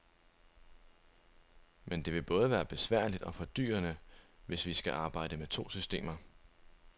Men det vil både være besværligt og fordyrende, hvis vi skal arbejde med to systemer.